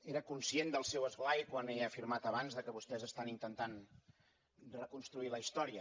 era conscient del seu esglai quan he afirmat abans que vostès estan intentant reconstruir la història